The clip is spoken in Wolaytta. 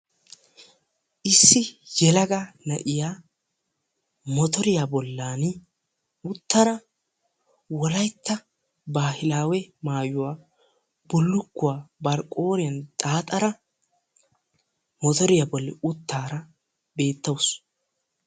Issi yelaga na'iya motoriya bollan uttara wolaytta baahilaawe maayuwa bullukkuwa bari qooriyan xaaxara motoriya bolli uttaara beettawusu.